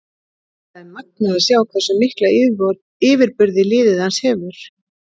Það er magnað að sjá hversu mikla yfirburði liðið hans hefur.